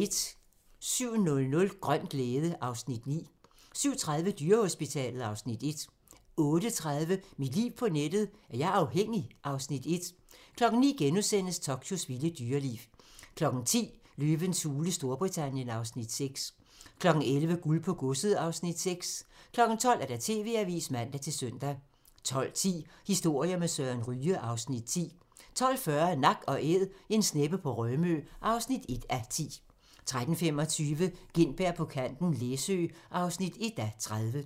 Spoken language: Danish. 07:00: Grøn glæde (Afs. 9) 07:30: Dyrehospitalet (Afs. 1) 08:30: Mit liv på nettet: Er jeg afhængig? (Afs. 1) 09:00: Tokyos vilde dyreliv * 10:00: Løvens hule Storbritannien (Afs. 6) 11:00: Guld på godset (Afs. 6) 12:00: TV-avisen (man-søn) 12:10: Historier med Søren Ryge (Afs. 10) 12:40: Nak & Æd - en sneppe på Rømø (1:10) 13:25: Gintberg på kanten - Læsø (1:30)